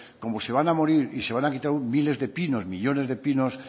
que como se van a morir y se van a quitar miles de pinos millónes de pinos